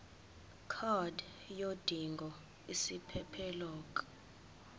card yodinga isiphephelok